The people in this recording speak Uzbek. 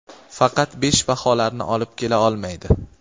faqat besh baholarni olib kela olmaydi.